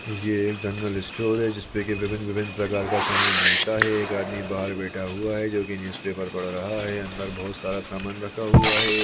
ये एक general store है जिसमें की विभिन्न- विभिन्न प्रकार का समान मिलता है एक आदमी बाहर बैठा हुआ है जोकि न्यूज़ पेपर पढ़ रहा है अंदर बहुत सारा समान रखा हुआ हैं।